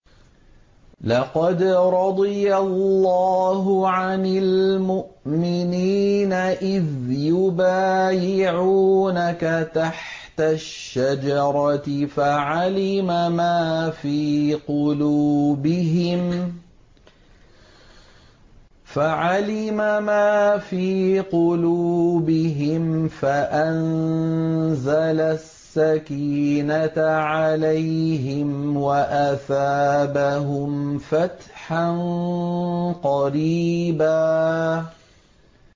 ۞ لَّقَدْ رَضِيَ اللَّهُ عَنِ الْمُؤْمِنِينَ إِذْ يُبَايِعُونَكَ تَحْتَ الشَّجَرَةِ فَعَلِمَ مَا فِي قُلُوبِهِمْ فَأَنزَلَ السَّكِينَةَ عَلَيْهِمْ وَأَثَابَهُمْ فَتْحًا قَرِيبًا